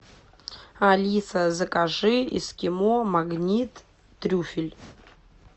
алиса закажи эскимо магнит трюфель